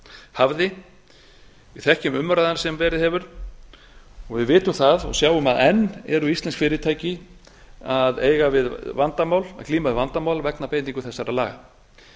hafði við þekkjum umræðuna sem verið hefur og við vitum það og sjáum að enn eru íslensk fyrirtæki að glíma við vandamál vegna beitingu þessara laga